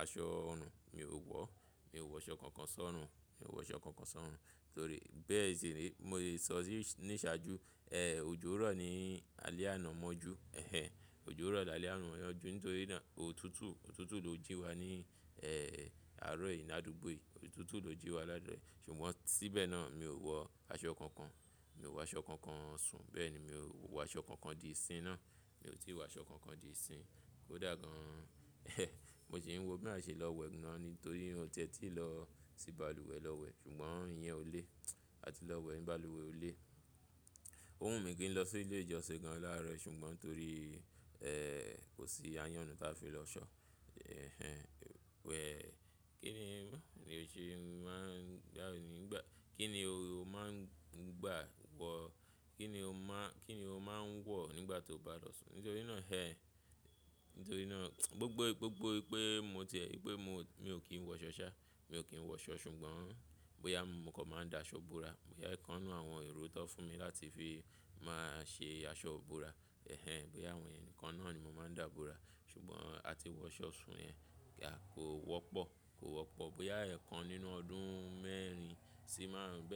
aṣọ ọ̀nà mi ò wọ́. Mi ò wọ aṣọ kan kan sọ́run. Mi ò wọ aṣọ kan kan sọ́run. Torí bẹ́ẹ̀ sìní, mo lè sọ sí ní ìṣáájú, ehn, òjò rọ̀ ni alẹ́ àná mọ́jú. Ehn ehn, òjò rọ̀ lálẹ́ àná mọ́jú. Nítorí náà òtútù, òtútù ló jí wa ní, ehn, àárọ̀ yìí ní àdúgbò yìí. Òtútù ló jí wa lálẹ́. Ṣùgbọ́n síbẹ̀ náà mi ò wọ aṣọ kan kan. Mi ò wọ aṣọ kan kan sùn. Bẹ́ẹ̀ ni mi ò wọ aṣọ kan kan di ìsìn náà. Mi ò tíì wọ aṣọ kan kan di ìsìn. kó dà gan. Mo sì ń wò bí a ṣe lọ wẹ̀ náà nítorí mi ò tietí lọ sí balùwẹ̀ lọ wẹ̀, ṣùgbọ́n ìyẹn ò lé. A ti lọ wẹ̀ ní balùwẹ̀ ò lé. Ó wùnmí kí n lọ sí ilé ìjọsìn kan láàárọ̀, ṣùgbọ́n torí, ehn, kò sí ayánnú táa fi lọ ṣọ́. Ehn ehn, wẹ̀, kí ni, kí ni o ṣe máa ń gbà ní ìgbà, kí ni o máa ń gbà wọ̀, kí ni o máa, kí ni o máa ń wọ̀ nígbà tó bá lọ sùn? Nítorí náà ẹ, nítorí náà gbogbo gbogbo pé mo ti ẹ, pé mo, mi ò kí ń wọ aṣọ sá. Mi ò kí ń wọ aṣọ, ṣùgbọ́n bóyá mo kàn máa ń da aṣọ bóra. Bóyá ẹ̀kan nínú àwọn èrò tó fún mi láti fi máa ṣe aṣọ ibóra. Ehn ehn, bóyá àwọn ìyẹn nìkan náà ni mo máa ń dà bóra. Ṣùgbọ́n a ti wọ aṣọ sùn yẹn ga kò wọ́pọ̀, kò wọ́pọ̀. Bóyá ẹ̀kan nínú ọdún mẹ́rin sì máàrun ń bẹ́.